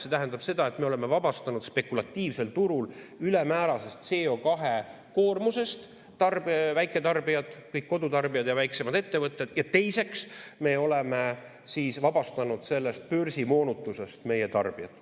See tähendab seda, et me oleme vabastanud spekulatiivsel turul ülemäärasest CO2-koormusest väiketarbijad, kõik kodutarbijad ja väiksemad ettevõtted, ja teiseks, me oleme vabastanud sellest börsimoonutusest meie tarbijad.